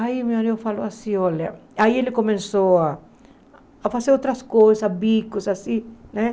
Aí meu marido falou assim, olha... Aí ele começou a a fazer outras coisas, bicos, assim, né?